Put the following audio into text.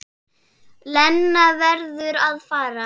Lena verður að fara.